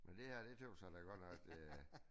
Men det her det tøs jeg da godt nok øh